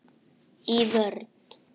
Í vörn.